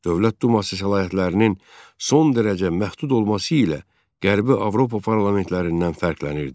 Dövlət Duması səlahiyyətlərinin son dərəcə məhdud olması ilə Qərbi Avropa parlamentlərindən fərqlənirdi.